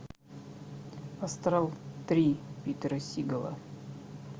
астрал три питера сигала